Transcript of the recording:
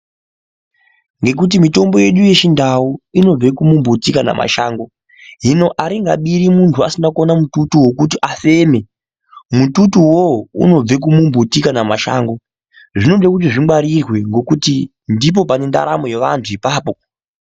Ngekuti mitombo yedu yechindau inobve kumumbuti kana mashango, hino aringabiri muntu asina kuona mututu wekuti muntu afeme. Mututu uwowo unobve kumumbuti kana mashango. Zvinode kuti zvingwarirwe ngokuti, ndipo pane ndaramo yeanhu ipapo.